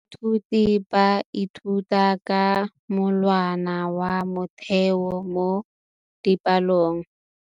Baithuti ba ithuta ka molawana wa motheo mo dipalong.